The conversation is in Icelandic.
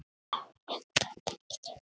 Þá kemur það ekki til greina